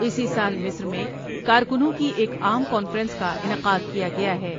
اسی سال مصر میں کارکنوں کی ایک عام کانفرنس کا انعقاد کیا گیا ہے ۔